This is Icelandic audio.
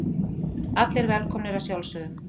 Allir velkomnir að sjálfsögðu.